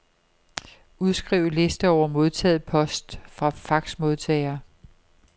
Udskriv liste over modtaget post fra faxmodtager.